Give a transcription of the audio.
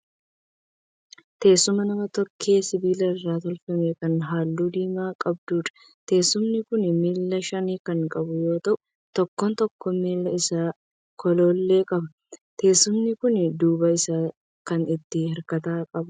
Teessuma nama tokkee sibiila irraa tolfame kan halluu diimaa qabduudha. Teessumni kun miila shan kan qabu yoo ta'u tokkoon tokkoo miila isaa golollee qaba. Teessumni kun duuba isaan kan itti hirkatan qaba.